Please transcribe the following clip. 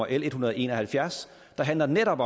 en hundrede og en og halvfjerds der handler om netop